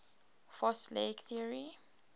fast leg theory